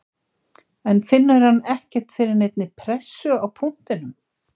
En finnur hann ekkert fyrir neinni pressu á punktinum?